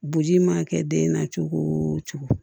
Boji mana kɛ den na cogo o cogo